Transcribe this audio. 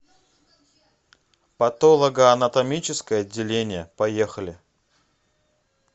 патологоанатомическое отделение поехали